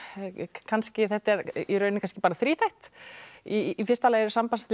kannski þetta er kannski þríþætt í fyrsta lagi eru sambandsslit